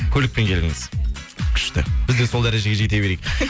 көлікпен келдіңіз күшті біз де сол дәрежеге жете берейік